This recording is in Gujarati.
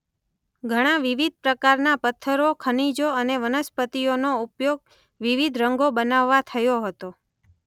ઘણાં વિવિધ પ્રકારના પથ્થરોૢ ખનિજોૢ અને વનસ્પતિઓનો ઉપયોગ વિવિધ રંગો બનાવવા થયો હતો.